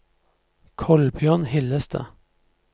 Kolbjørn Hillestad